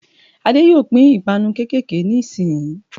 Adé yóò pín 'ìpanu kékèké' ní ìsin yìí